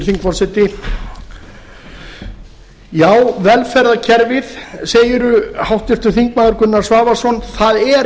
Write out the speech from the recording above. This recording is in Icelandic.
hæstvirtur forseti já velferðarkerfið segirðu háttvirtir þingmenn gunnar svavarsson það er